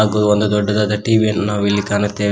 ಮತ್ತು ಒಂದು ದೊಡ್ಡದಾದ ಟಿ_ವಿ ಅನ್ನು ನಾವು ಇಲ್ಲಿ ಕಾಣುತ್ತೇವೆ.